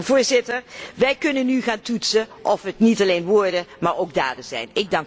Voorzitter, wij kunnen nu gaan toetsen of het niet alleen woorden, maar ook daden zijn.